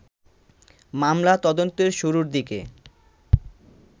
মামলা তদন্তের শুরুর দিকে